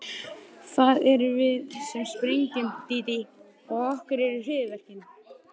Vera má að stjórnarformaður sé forfallaður.